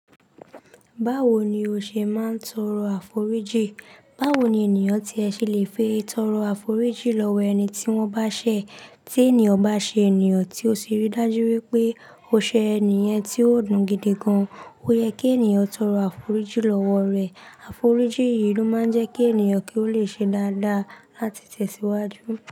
Báwo ni o ṣe máa ń torọ àforíjì? Báwo ni ènìyàn tí ẹ ṣe leè fi tọ̀rọ̀ àforíjì lọ́wọ́ ẹni tí wọ́n bá ṣe? Tí ènìyàn bá ṣe ènìyàn tí ó ṣe rí dájú wípé ó ṣe ènìyàn tí ó dùn gidi gan, ó yẹ kí ènìyàn torọ àforíjì lọ́wọ́ rẹ̀. Àforíjì yìí ló máa ń jẹ́ kí ènìyàn kí ó le ṣe dáadáa láti tẹ̀síwájú.